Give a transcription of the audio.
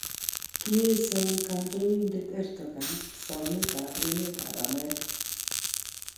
Koiesion kandoindet Erdogan somet ab emet ab America